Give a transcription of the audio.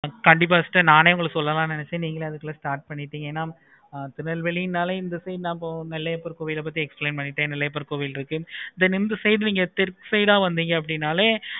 கண்டிப்பா sister நானே உங்களுக்கு சொல்லலாம் நினச்சேன். நீங்களே அதுக்குள்ள start பண்ணிட்டீங்க. ஆஹ் திருநெல்வேலினாலே இந்த side நாளே நெல்லையப்பர் கோவில் பத்தி explain பண்ணிட்டு நெல்லையப்பர் கோவில் இருக்கு. இந்த வந்திங்கனாளே